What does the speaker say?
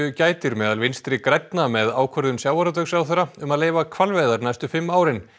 gætir meðal Vinstri grænna með ákvörðun sjávarútvegsráðherra um að leyfa hvalveiðar næstu fimm árin